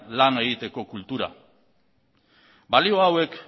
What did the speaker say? lana egiteko kultura balio hauek